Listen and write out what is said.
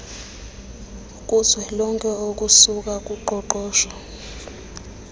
kuzwelonke okusuka kuqoqosho